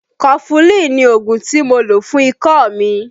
Kọfulin ni ògùn tí mo lò fún ikọ́ mi.